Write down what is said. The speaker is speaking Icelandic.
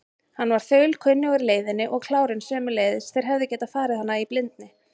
Hann var þaulkunnugur leiðinni og klárinn sömuleiðis, þeir hefðu getað farið hana í blindni.